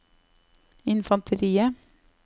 infanteriet